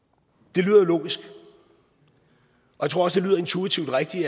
det lyder jo logisk jeg tror også det lyder intuitivt rigtigt